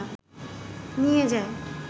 নিয়ে যায়